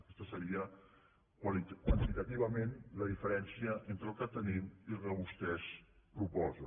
aquesta seria quan·titativament la diferència entre el que tenim i el que vostès proposen